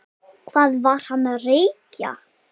Hvað var hann að reykja?